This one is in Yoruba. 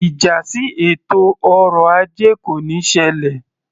Ìjà sí ètò ọrọ ajé kò níí ṣẹlẹ̀